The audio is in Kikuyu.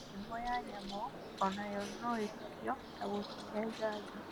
Mĩrimũ ya nyamũ onayo noĩhukio na gũcihe njanjo